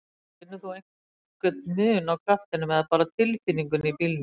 Lóa: Finnur þú einhver mun á kraftinum eða bara tilfinningunni í bílnum?